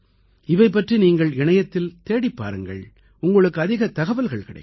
இவை பற்றி நீங்கள் இணையத்தில் தேடிப் பாருங்கள் உங்களுக்கு அதிகத் தகவல்கள் கிடைக்கும்